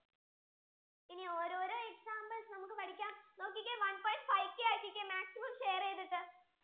ഇനി ഓരോരോ examples നമുക്ക് പഠിക്കാം നോക്കിക്കേ one point five k ആകിക്കെ maximum share ചെയ്‌തട്ടു